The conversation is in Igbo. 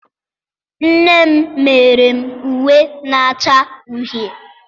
m mere m uwe na-acha uhie